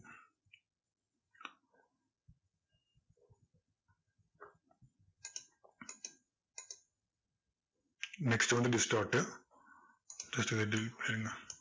next வந்து distort uh such a deep in